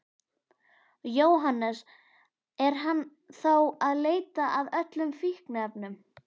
Jóhannes: Er hann þá að leita að öllum fíkniefnum?